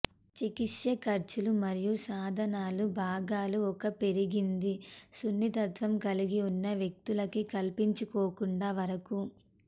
చికిత్స ఖర్చులు మరియు సాధనాలు భాగాలు ఒక పెరిగింది సున్నితత్వం కలిగి ఉన్న వ్యక్తులకి కల్పించుకోకుండా వరకు